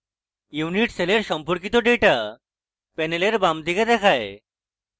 unit সেলের সম্পর্কিত data panel বাম দিকে দেখায়